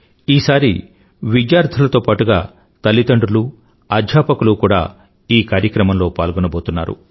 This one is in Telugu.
ఈసారి విద్యార్థులతో పాటుగా తల్లిదండ్రులనూ అధ్యాపకులనూ కూడా ఈ కార్యక్రమంలో పాల్గోబోతున్నారు